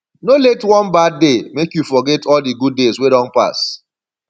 no let one bad day make you forget all di good days wey don pass